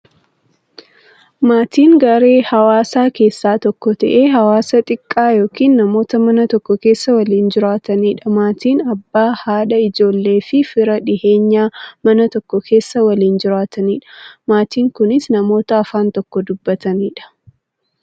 Maatiin garaa hawaasaa keessaa tokko ta'ee, hawaasa xiqqaa yookin namoota Mana tokko keessaa waliin jiraataniidha. Maatiin Abbaa, haadha, ijoolleefi fira dhiyeenyaa, Mana tokko keessaa waliin jiraataniidha. Maatiin kunnis, namoota afaan tokko dubbataniidha.